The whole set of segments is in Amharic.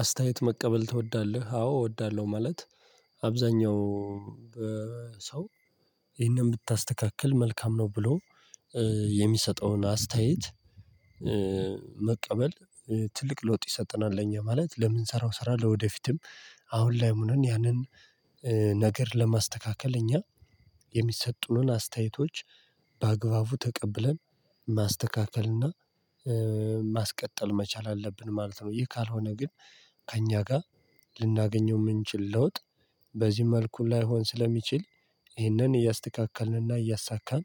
አስተያየት መቀበል ትወዳለህ? አዎ እወዳለሁ። ማለት አብዛኛው ሰው ይሄንን ብታስተካክል መልካም ነው ብሎ የሚሰጠውን አስተያየት መቀበል ትልቅ ለውጥ ይሰጠናል። ለኛ ማለት ለምን ሰራው ሰራ ለወደፊትም አሁን ላይ ሆነን ያንን ነገር ለማስተካከል እኛ የሚሰጡንን አስተያየቶች በአግባቡ ተቀብለን ማስተካከል እና ማስቀጠል መቻል አለብን ማለት ነው። ይሄ ካልሆነ ግን ከእኛ ጋር ልናገኘው የምንችል ለውጥ በዚህ መልኩ ላይሆን ስለሚችል ይህንን እያስተካከልንና እያሳካን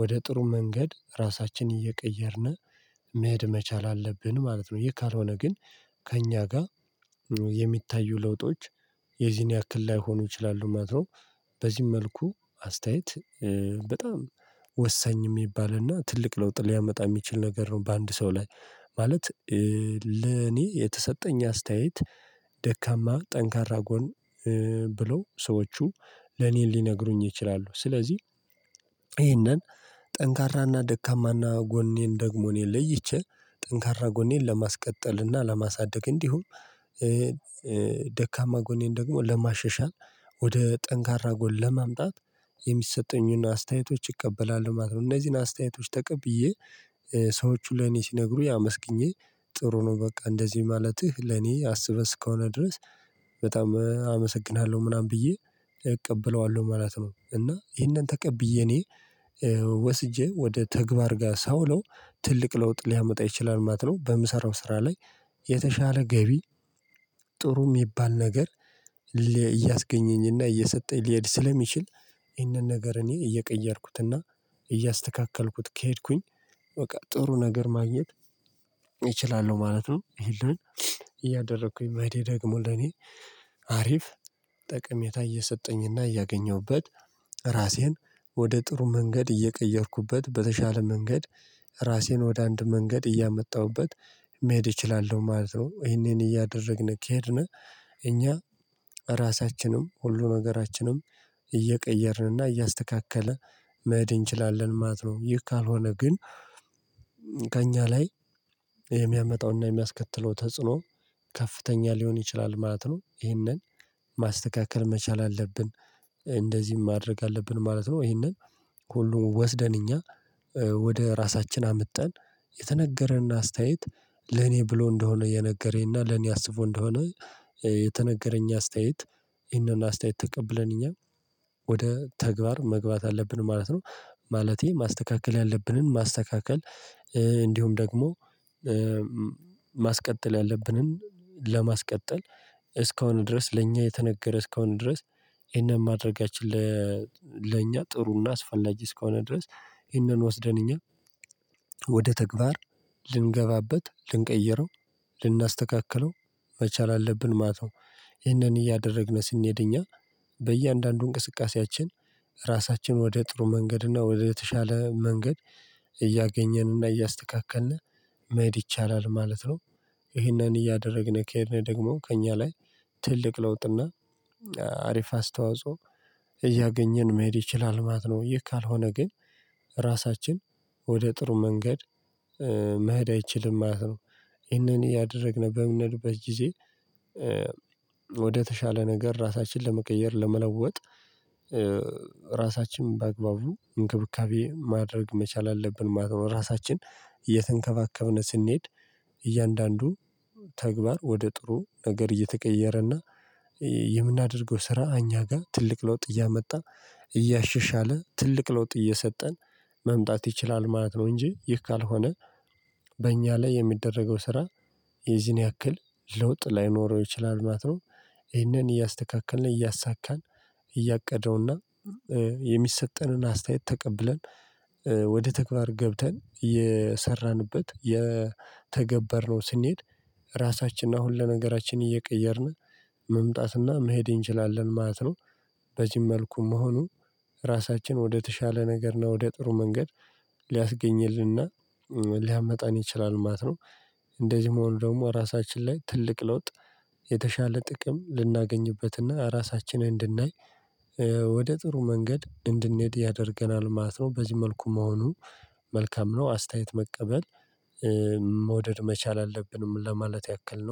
ወደ ጥሩ መንገድ ራሳችንን እየቀየርን መሄድ መቻል አለብን ማለት ነው። ይሄ ካልሆነ ግን ከእኛ ጋር የሚታዩ ለውጦች የዚህን ያክል ላይሆኑ ይችላሉ ማለት ነው። በዚህ መልኩ አስተያየት በጣም ወሳኝ የሚባልና ትልቅ ለውጥ ሊያመጣ የሚችል ነገር ነው። በአንድ ሰው ላይ ማለት ለኔ የተሰጠኝ አስተያየት ደካማ ጠንካራ ጎን ብለው ሰዎቹ ለኔ ሊነግሩኝ ይችላሉ። ስለዚህ ይሄንን ጠንካራና ደካማና ጎኔን ደግሞ እኔ ለይቼ ጠንካራ ጎኔን ለማስቀጠልና ለማሳደግ እንዲሁም ደካማ ጎኔን ደግሞ ለማሸሻል ወደ ጠንካራ ጎል ለማምጣት የሚሰጠኝን አስተያየቶች ይቀበላል ማለት ነው። እነዚህን አስተያየቶች ተቀብዬ ሰዎች ለኔ ሲነግሩ ያመስግኜ ጥሩ ነው በቃ እንደዚህ ማለትህ ለኔ አስበስ ከሆነ ድረስ በጣም አመሰግንሃለሁ ምናምን ብዬ እቀበለዋለሁ ማለት ነው። እና ይሄንን ተቀብዬ እኔ ወስጄ ወደ ተግባር ጋር ሳውለው ትልቅ ለውጥ ሊያመጣ ይችላል ማለት ነው። በምሰራው ስራ ላይ የተሻለ ገቢ ጥሩ የሚባል ነገር እያስገኘኝና እየሰጠኝ ሊሄድ ስለሚችል ይሄንን ነገር እኔ እየቀየርኩትና እያስተካከልኩት ከሄድኩኝ በቃ ጥሩ ነገር ማግኘት እችላለሁ ማለት ነው። ይሄን እያደረኩኝ መሄዴ ደግሞ ለኔ አሪፍ ጠቀሜታ እየሰጠኝና እያገኘሁበት ራሴን ወደ ጥሩ መንገድ እየቀየርኩበት በተሻለ መንገድ ራሴን ወደ አንድ መንገድ እያመጣሁበት መሄድ እችላለሁ ማለት ነው። ይሄንን እያደረግን ከሄድን እኛ ራሳችንም ሁሉ ነገራችንም እየቀየርንና እያስተካከለ መሄድ እንችላለን ማለት ነው። ይህ ካልሆነ ግን ከእኛ ላይ የሚያመጣውና የሚያስከትለው ተጽዕኖ ከፍተኛ ሊሆን ይችላል ማለት ነው። ይሄንን ማስተካከል መቻል አለብን እንደዚህም ማድረግ አለብን ማለት ነው። ይሄንን ሁሉ ወስደን እኛ ወደ ራሳችን አምጠን የተነገረንና አስተያየት ለኔ ብሎ እንደሆነ የነገረኝና ለኔ አስቦ እንደሆነ የተነገረኝ አስተያየት ይሄንን አስተያየት ተቀብለን እኛ ወደ ተግባር መግባት አለብን ማለት ነው። ማለቴ ማስተካከል ያለብንን ማስተካከል እንዲሁም ደግሞ ማስቀጠል ያለብንን ለማስቀጠል እስከሆነ ድረስ ለእኛ የተነገረ እስከሆነ ድረስ ይሄንን ማድረጋችን ለእኛ ጥሩና አስፈላጊ እስከሆነ ድረስ ይህንን ወስደን እኛ ወደ ተግባር ልንገባበት ልንቀይረው ልናስተካክለው መቻል አለብን ማለት ነው። ይህንን እያደረግን ስንሄድ እኛ በእያንዳንዱ እንቅስቃሴያችን ራሳችን ወደ ጥሩ መንገድ እና ወደ ተሻለ መንገድ እያገኘንና እያስተካከልን መሄድ ይቻላል ማለት ነው። ይህንን እያደረግን ከሄድን ደግሞ ከእኛ ላይ ትልቅ ለውጥና አሪፍ አስተዋጽኦ እያገኘን መሄድ ይችላል ማለት ነው። ይሄ ካልሆነ ግን ራሳችን ወደ ጥሩ መንገድ መሄድ አይችልም ማለት ነው። ይሄንን ያደረግን በምንሄድበት ጊዜ ወደ ተሻለ ነገር ራሳችንን ለመቀየር ለመለወጥ ራሳችንን በአግባቡ እንክብካቤ ማድረግ መቻል አለብን ማለት ነው። ራሳችን እየተንከባከብን ስንሄድ እያንዳንዱ ተግባር ወደ ጥሩ ነገር እየተቀየረና የምናደርገው ስራ እኛ ጋር ትልቅ ለውጥ እያመጣ እያሸሻለ ትልቅ ለውጥ እየሰጠን መምጣት ይችላል ማለት ነው። እንጂ ይህ ካልሆነ በእኛ ላይ የሚደረገው ስራ የዚህን ያክል ለውጥ ላይኖረው ይችላል ማለት ነው። ይህንን እያስተካከልን እያሳካን እያቀደውና የሚሰጠንን አስተያየት ተቀብለን ወደ ተግባር ገብተን የሰራንበት የተገበርነው ስንሄድ ራሳችንና ሁሉ ነገራችን እየቀየርን መምጣትና መሄድ እንችላለን ማለት ነው። በዚህም መልኩ መሆኑ ራሳችን ወደ ተሻለ ነገር ነው ወደ ጥሩ መንገድ ሊያስገኝልንና ሊያመጣን ይችላል ማለት ነው። እንደዚህ መሆኑ ደግሞ ራሳችን ላይ ትልቅ ለውጥ የተሻለ ጥቅም ልናገኝበትና ራሳችንን እንድናይ ወደ ጥሩ መንገድ እንድንሄድ ያደርገናል ማለት ነው። በዚህ መልኩ መሆኑ መልካም ነው። አስተያየት መቀበል መውደድ መቻል አለብን ለማለት ያክል ነው።